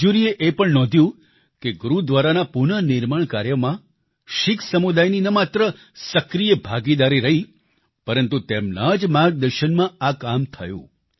જ્યુરીએ એ પણ નોંધ્યું કે ગુરુદ્વારાના પુનઃનિર્માણ કાર્યમાં શીખ સમુદાયની ન માત્ર સક્રિય ભાગીદારી રહી પરંતુ તેમના જ માર્ગદર્શનમાં આ કામ થયું